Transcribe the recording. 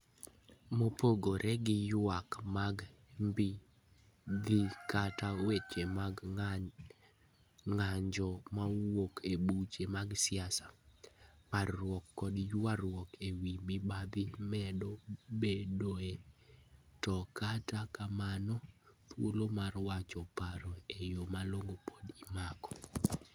Mopogore gi ywak mag mibadhi kata weche mag ng'anjo mawuok e buche mag siasa, parruok koda ywaruok e wi mibadhi medo bedoe, to kata kamano, thuolo mar wacho paro e yo malong'o pod imako.